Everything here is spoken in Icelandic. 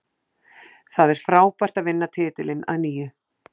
Það er frábært að vinna titilinn að nýju.